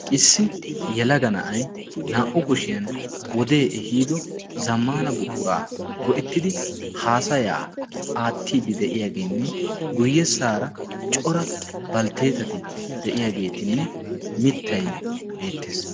Issi yalaga na'ay naa"u kushiyan wodee ehiido zammaana buquraa go"ittidi haasayaa aattiidi de'iyaageenne guyyessaara cora baltteetati de'iyaageetinne mittay beettees